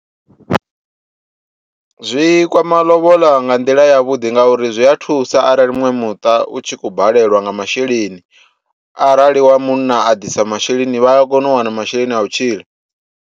Zwikwama lobola nga nḓila ya vhuḓi ngauri zwi a thusa arali muṅwe muṱa u tshi kho balelwa nga masheleni, arali wa munna a disa masheleni vha a kona u wana masheleni a u tshila.